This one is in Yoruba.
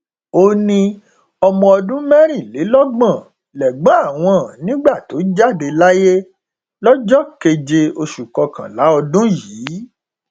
ó ní ọmọ ọdún mẹrìnlélọgbọn lẹgbọn àwọn nígbà tó jáde láyé lọjọ keje oṣù kọkànlá ọdún yìí